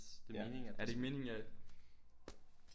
Ja er det ikke meningen at